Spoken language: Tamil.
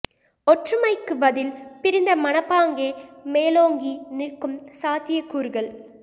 ஒற்றுமைக்குப் பதில் பிரிந்த மனப்பாங்கே மேலோங்கி நிற்கும் சாத்தியக் கூறுகள்